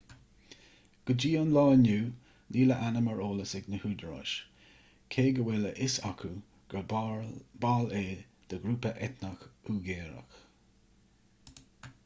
go dtí an lá inniu níl a ainm ar eolas ag na húdaráis cé go bhfuil a fhios acu gur ball é de ghrúpa eitneach uigiúrach